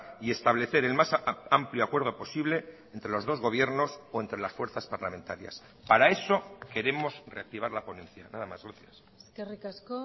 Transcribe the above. y establecer en más amplio acuerdo posible entre los dos gobiernos o entre las fuerzas parlamentarias para eso queremos reactivar la ponencia nada más gracias eskerrik asko